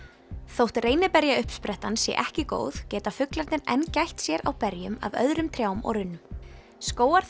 þótt sé ekki góð geta fuglarnir enn gætt sér á berjum af öðrum trjám og runnum